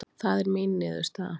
Það er mín niðurstaða